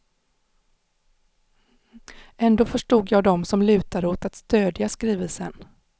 Ändå förstod jag dem som lutade åt att stödja skrivelsen.